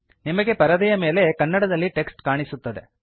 ನಿಮಗೆ ಪರದೆಯ ಮೇಲೆ ಕನ್ನಡ ದಲ್ಲಿ ಟೆಕ್ಸ್ಟ್ ಕಾಣಿಸುತ್ತದೆ